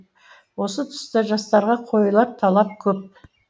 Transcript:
осы тұста жастарға қойылар талап көп